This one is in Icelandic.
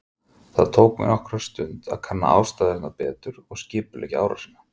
Það tók mig nokkra stund að kanna aðstæðurnar betur og skipuleggja árásina.